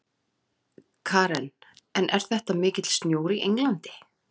Karen: En er þetta mikill snjór í Englandi?